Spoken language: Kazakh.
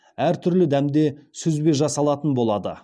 әртүрлі дәмде сүзбе жасалатын болады